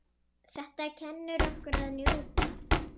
Þetta kennir okkur að njóta.